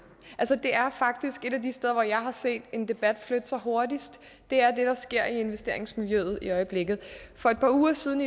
det er faktisk et af de steder hvor jeg har set en debat flytte sig hurtigst det er det der sker i investeringsmiljøet i øjeblikket for et par uger siden